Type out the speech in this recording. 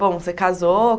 Bom, você casou?